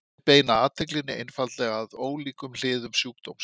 Þau beina athyglinni einfaldlega að ólíkum hliðum sjúkdómsins.